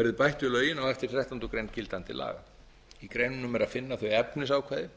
verði bætt við lögin á eftir þrettánda grein gildandi laga í greinunum er að finna þau efnisákvæði